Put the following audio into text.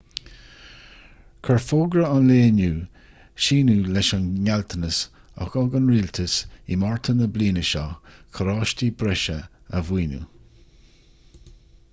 chuir fógra an lae inniu síneadh leis an ngealltanas a thug an rialtas i márta na bliana seo carráistí breise a mhaoiniú